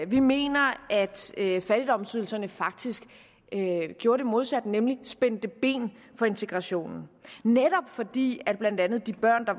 vi mener at fattigdomsydelserne faktisk gjorde det modsatte nemlig spændte ben for integrationen netop fordi blandt andet de børn der